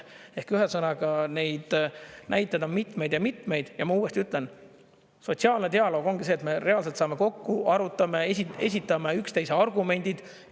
Ehk ühesõnaga neid näiteid on mitmeid ja mitmeid ja ma uuesti ütlen: sotsiaalne dialoog ongi see, et me reaalselt saame kokku, arutame, esitame üksteise argumendid.